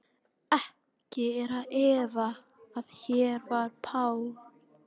Ekki er að efa, að hér var Paul